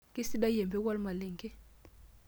Keisidai empeku olmalenge.